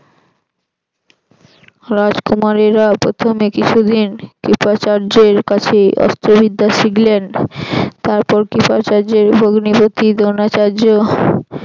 রাজকুমারেরা প্রথমে কিছুদিন কৃপাচার্যের কাছে অস্ত্র বিদ্যা শিখলেন তারপর কৃপাচার্যের ভগ্নিপতি দ্রোনাচার্য